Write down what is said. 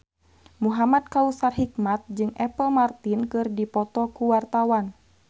Muhamad Kautsar Hikmat jeung Apple Martin keur dipoto ku wartawan